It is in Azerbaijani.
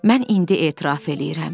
Mən indi etiraf eləyirəm.